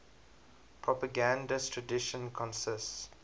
propagandist tradition consists